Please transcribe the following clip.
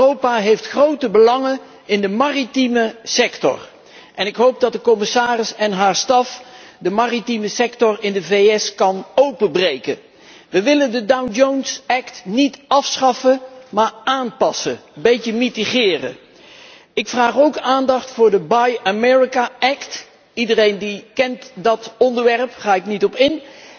Europa heeft grote belangen in de maritieme sector, en ik hoop dat de commissaris en haar staf de maritieme sector in de VS kunnen openbreken. We willen de Jones Act niet afschaffen maar aanpassen. Een beetje milderen. Ik vraag ook aandacht voor de Buy American Act iedereen kent dat onderwerp, daar ga ik niet op